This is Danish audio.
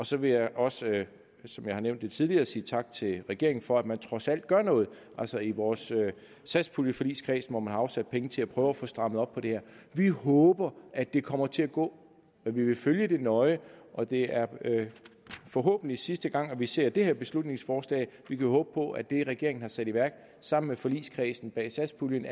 så vil jeg også som jeg har nævnt det tidligere sige tak til regeringen for at man trods alt gør noget altså i vores satspuljeforligskreds hvor man har afsat penge til at prøve at få strammet op på det her vi håber at det kommer til at gå men vi vil følge det nøje og det er forhåbentlig sidste gang at vi ser det her beslutningsforslag vi vil håbe på at det regeringen har sat i værk sammen med forligskredsen bag satspuljen